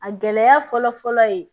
A gɛlɛya fɔlɔ fɔlɔ ye